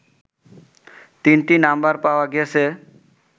তিনটি নাম্বার পাওয়া গেছে